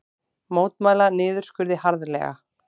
Mótmæla niðurskurði harðlega